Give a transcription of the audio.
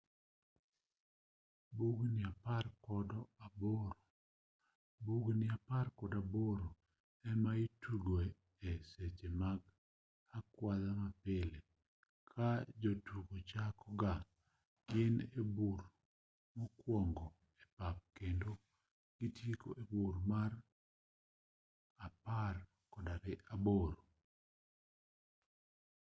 bugni apar kod aboro ema itugoe e seche mag akwadha mapile ka jotugo chako ga gi e bur mokuongo e pap kendo gitieko e bur mar apar kod aboro